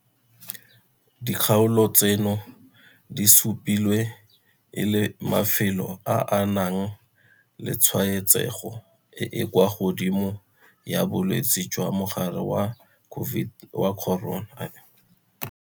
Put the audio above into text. Dikgaolo tseno di supilwe e le mafelo a a nang le tshwaetsego e e kwa godimo ya bolwetse jwa mogare wa corona.